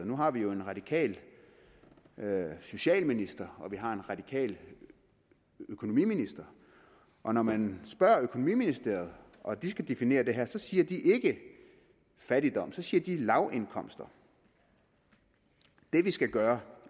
nu har vi jo en radikal socialminister og vi har en radikal økonomiminister at når man spørger økonomiministeriet og de skal definere det her siger de ikke fattigdom de siger lavindkomster det vi skal gøre